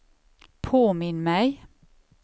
påminn mig